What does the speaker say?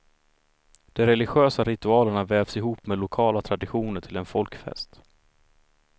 De religiösa ritualerna vävs ihop med lokala traditioner till en folkfest.